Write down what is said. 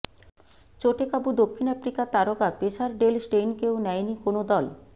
চোটে কাবু দক্ষিণ আফ্রিকার তারকা পেসার ডেল স্টেইনকেও নেয়নি কোনও দল